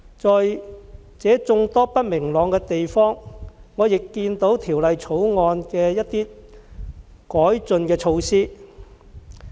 即使存在眾多不明朗的地方，我仍看到《條例草案》的一些改進的措施。